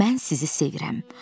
Mən sizi sevirəm.